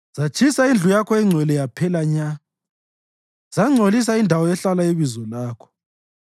Zatshisa indlu yakho engcwele yaphela nya; zangcolisa indawo ehlala iBizo lakho.